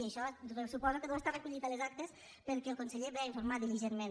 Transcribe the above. i això suposo que deu estar recollit a les actes perquè el conseller ve a informar diligentment